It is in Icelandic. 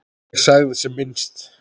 Ég sagði sem minnst.